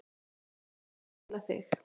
Ég sem á að tæla þig.